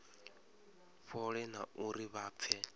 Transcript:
fhole na uri vha pfe